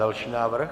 Další návrh.